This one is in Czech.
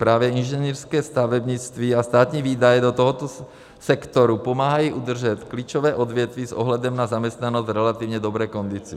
Právě inženýrské stavebnictví a státní výdaje do tohoto sektoru pomáhají udržet klíčové odvětví s ohledem na zaměstnanost v relativně dobré kondici.